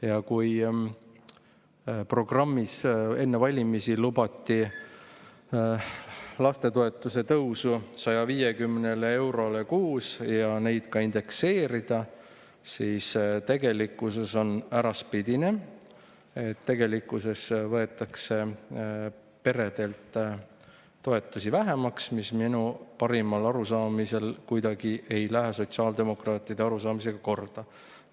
Ja kui enne valimisi lubati oma programmis lapsetoetuse tõusu 150 eurole kuus ja seda ka indekseerida, siis tegelikkus on äraspidine, tegelikkuses võetakse peredelt toetusi vähemaks, mis minu parimal arusaamisel ei lähe kuidagi sotsiaaldemokraatide arusaamisega.